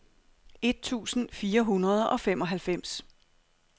et tusind fire hundrede og femoghalvfems